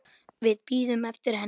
Við bíðum eftir henni